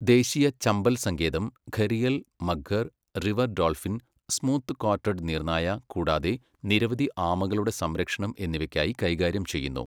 ദേശീയ ചമ്പൽ സങ്കേതം gharial, mugger, river dolphin, smooth coated നീർനായ, കൂടാതെ നിരവധി ആമകളുടെ സംരക്ഷണം എന്നിവയ്ക്കായി കൈകാര്യം ചെയ്യുന്നു.